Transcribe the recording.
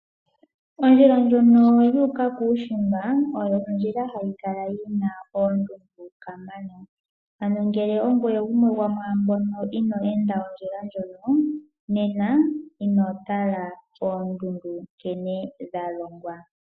Ondjila ndjono yuuka kuushimba ohayi kala yina oondundu kamana. Ano ngele ongoye gumwe gomwaambo inoo enda ondjila ndjono nena ino mona oondundu nkene dha longwa .